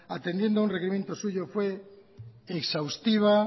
atendiendo a un requerimiento suyo fue exhaustiva